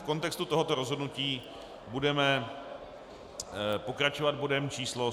V kontextu tohoto rozhodnutí budeme pokračovat bodem číslo